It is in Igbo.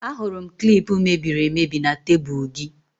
Ahụrụ m klip mebiri emebi na tebụl gị